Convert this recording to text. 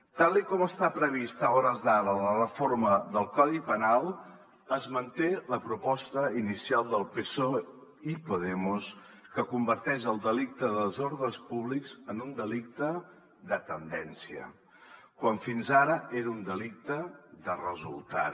tal com està prevista a hores d’ara la reforma del codi penal es manté la proposta inicial del psoe i podemos que converteix el delicte de desordres públics en un delicte de tendència quan fins ara era un delicte de resultat